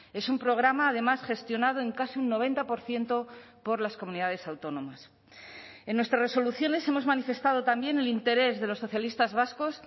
es un programa además gestionado en casi un noventa por ciento por las comunidades autónomas en nuestras resoluciones hemos manifestado también el interés de los socialistas vascos